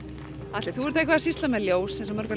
Atli þú ert eitthvað að sýsla með ljós eins og mörg